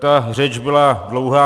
Ta řeč byla dlouhá.